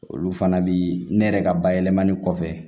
Olu fana bi ne yɛrɛ ka bayɛlɛmali kɔfɛ